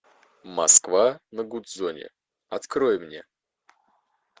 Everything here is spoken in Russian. москва на гудзоне открой мне